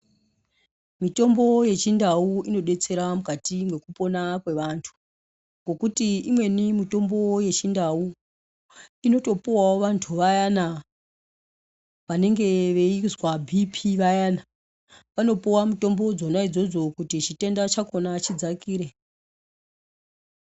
Mitombo yechindau inodetsere mukati mekupona kweantu ngekuti imweni mitombo yechindau inotopuwawo vantu vayane vanenge veizwa bhiipii vayane vanopuwa mitombo dzona idzodzo kuti chitenda chakona chidzakire .